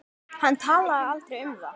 Hann talaði aldrei um það.